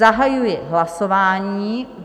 Zahajuji hlasování.